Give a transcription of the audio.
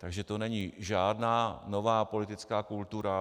Takže to není žádná nová politická kultura.